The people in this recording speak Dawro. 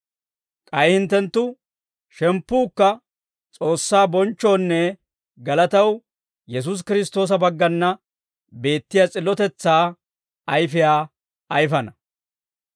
K'ay hinttenttu shemppuukka S'oossaa bonchchoonne galataw Yesuusi Kiristtoosa baggana beettiyaa s'illotetsaa ayfiyaa ayifana.